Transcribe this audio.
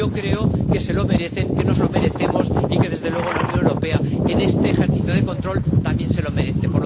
Yo creo que se lo merecen, que nos lo merecemos, y que, desde luego, la Unión Europea, en este ejercicio de control, también se lo merece.